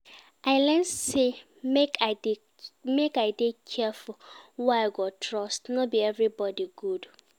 I learn sey make I dey careful who I go trust, no be everybodi good